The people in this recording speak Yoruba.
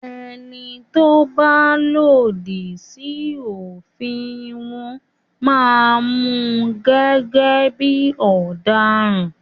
ẹní tó bà lòdì sí òfin wón má Mú gẹ́gẹ́ bí ọ̀daràn.